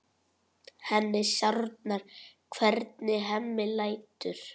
Henni sárnar hvernig Hemmi lætur.